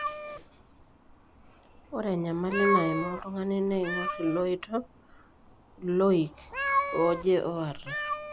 Ore enyamali naimaa oltung'ani neing'or iloito(iloik) oje oata.